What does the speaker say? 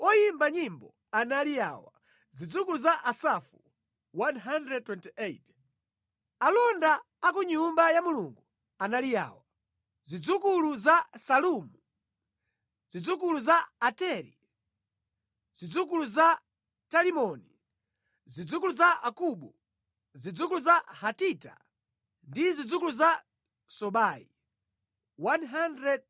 Alonda a ku Nyumba ya Mulungu anali awa: Zidzukulu za Salumu, zidzukulu za Ateri, zidzukulu za Talimoni, zidzukulu za Akubu, zidzukulu za Hatita ndi zidzukulu za Sobai 139.